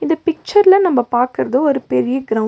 இந்த பிச்சர்ல நம்ம பாக்குறது ஒரு பெரிய கிரவுண்டு .